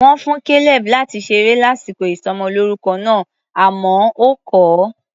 Wọ́n fún Caleb láti ṣeré lásìkò ìsọmọlórúkọ náà, àmọ́ ó kọ̀ ọ́.